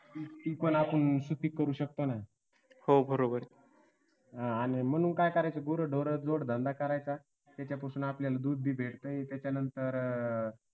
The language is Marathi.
ती पण असून सुपीक करू शकता ना हा आणि म्हणून काय करायचं गुरंढोरं जोड धंदा करायचा. त्याच्यापासून आपल्याला दूध भी भेटतंय. त्याच्यानंतर अह